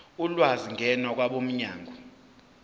ulwazi ngena kwabomnyango